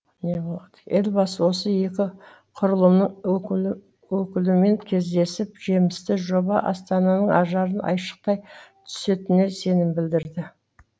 елбасы осы екі құрылымның өкілімен кездесіп жемісті жоба астананың ажарын айшықтай түсетініне сенім білдірді